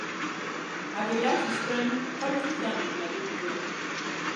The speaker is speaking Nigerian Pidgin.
i dey like to dey spend quality time wit my baby girl.